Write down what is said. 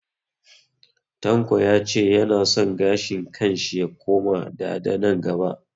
Tanko ya ce ya na son gashin kan shi ya koma dada nan gaba